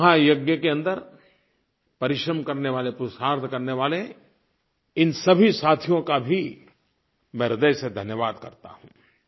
इस महायज्ञ के अन्दर परिश्रम करने वाले पुरुषार्थ करने वाले इन सभी साथियों का भी मैं ह्रदय से धन्यवाद करता हूँ